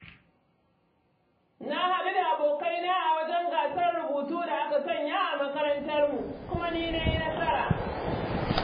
Na haɗu da abokaina a wajen gasar rubutu da aka sanya a makarantarmu, kuma ni na yi nasara.